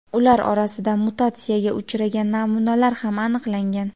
ular orasida mutatsiyaga uchragan namunalar ham aniqlangan.